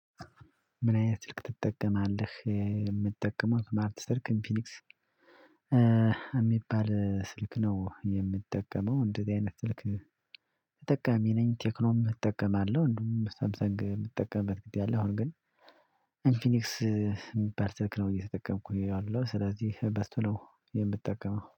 ምን አይነት ስልክ ትጠቀማለህ የምጠቀመው ስማርት ስልክ እንፊኒክስ እሚባል ስልክ ነው የምጠቀመው እንደዚህ አይነት ስልክ። ተጠቃሚ ነኝ ቴክኖም እጠቀማለሁ። እንዲውም ሳምሰንግ ምጠቀምበት ጊዜ አለ አሁን ግን። ተጠቃሚ ነኝ ቴክኖም እጠቀማለሁ። እንዲውም ሳምሰንግ ምጠቀምበት ጊዜ አለ እንደውም አሁን ግን